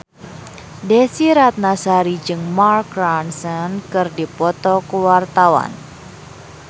Desy Ratnasari jeung Mark Ronson keur dipoto ku wartawan